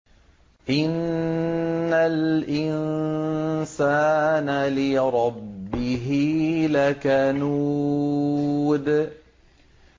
إِنَّ الْإِنسَانَ لِرَبِّهِ لَكَنُودٌ